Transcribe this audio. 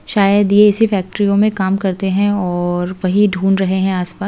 शायद यह इसी फैक्ट्रियों में काम करते हैं और वही ढूंढ रहे हैं आज --